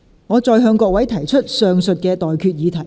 我現在向各位提出上述待決議題。